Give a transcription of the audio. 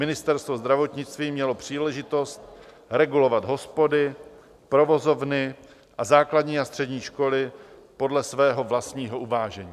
Ministerstvo zdravotnictví mělo příležitost regulovat hospody, provozovny a základní a střední školy podle svého vlastního uvážení.